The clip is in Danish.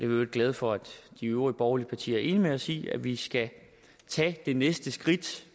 øvrigt glade for at de øvrige borgerlige partier er enige med os i at vi skal tage det næste skridt